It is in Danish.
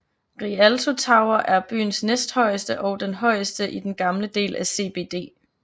Rialto tower er byens næsthøjeste og den højeste i den gamle del af CBD